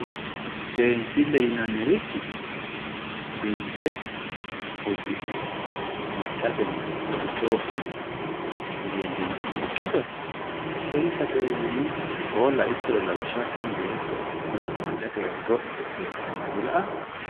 seensille yinannirichi biinfe uddi'ne maccateno worqe wodhine leellammanni ikkito seesatewe yinanni koo laittoro lawishshaho tini beetto maccateno worqe wodhite seessino gara dila''aa